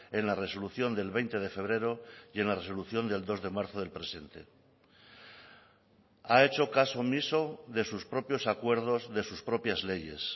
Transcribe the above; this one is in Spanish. en la resolución del veinte de febrero y en la resolución del dos de marzo del presente ha hecho caso omiso de sus propios acuerdos de sus propias leyes